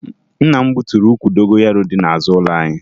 Nna m gbuturu ukwu dogoyaro dị n'azụ ụlọ anyị